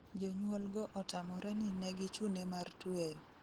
Jonyuol go otamore ni negichune mar tweyo